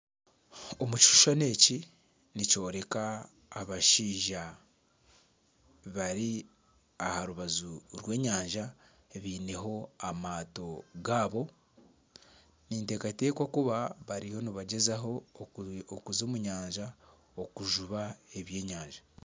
Ekishushani eki nikyoreka abashaija bari aha rubaju rw'enyanja biineho amaato gaabo. Ninteekateeka kuba bariyo nibagyezaho kuza omu nyanja okujuba ebyenyanja.